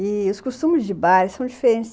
E os costumes de bares são diferentes.